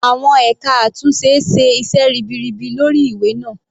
Àwọn ẹka àtúnṣe ṣe iṣẹ́ ribiribi lórí ìwé náà.